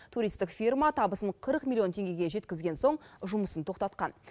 туристік фирма табысын қырық миллион теңгеге жеткізген соң жұмысын тоқтатқан